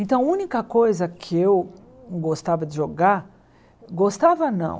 Então a única coisa que eu gostava de jogar, gostava não.